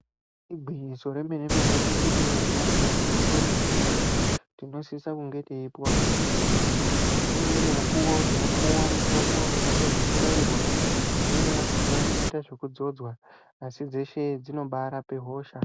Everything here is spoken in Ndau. Igwinyiso remene mene teshe tinoziya kuti mitombo mizhinji tinosisa kunge teipuwa muzvibhedhleya ngeimweni mikuwo yinopuwa mitombo inoita zvekubairwa imweni yakhona inoita zvekudzodzwa asi dzeshe dzinobaarape hosha.